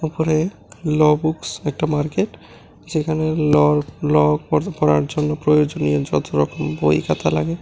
উপরে লবুকস একটা মার্কেট যেখানে ল ল পড়ার জন্য প্রয়োজনীয় যত রকম বই খাতা লাগে--